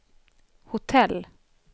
hotell